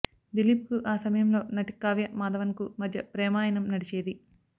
దిలీప్ కు ఆ సమయంలో నటి కావ్య మాధవన్ కు మధ్య ప్రేమాయణం నడిచేది